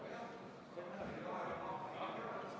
Väga raske on anda hinnangut, kas ma olen paremini kursis või mitte.